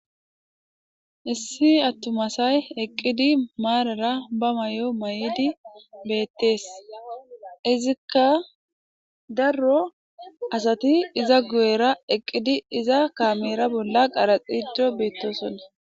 Issi attumasay eqqidi maarara ba may'o mayidi beettees izikka darro asati iza gu7'er eqqidi iza kaamera bolla qaraxijo beettosonna.